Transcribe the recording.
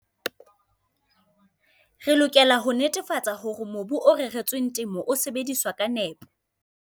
Re lokela ho netefatsa hore mobu o reretsweng temo o sebediswa ka nepo.